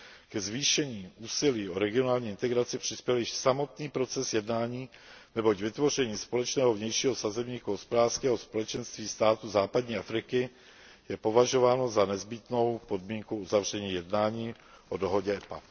Ke zvýšení úsilí o regionální integraci přispěl již samotný proces jednání, neboť vytvoření společného vnějšího sazebníku Hospodářského společenství států západní Afriky je považováno za nezbytnou podmínku uzavření jednání o dohodě EPA.